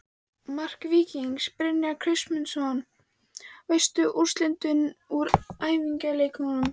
Mark Víkings: Brynjar Kristmundsson Veistu úrslit úr æfingaleikjum?